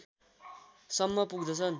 सम्म पुग्दछ